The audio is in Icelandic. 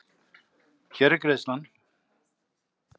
Hér er greiðslan.